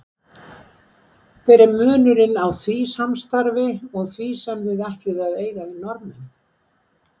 Hver er munurinn á því samstarfi og því sem þið ætlið að eiga við Norðmenn?